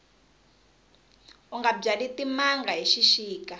unga byali timanga hi xixika